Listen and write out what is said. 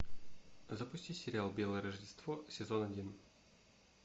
запусти сериал белое рождество сезон один